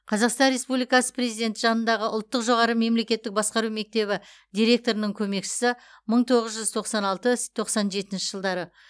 қазақстан республикасы президенті жанындағы ұлттық жоғары мемлекеттік басқару мектебі директорының көмекшісі мың тоғыз жүз тоқсан алты с тоқсан жетінші жылдары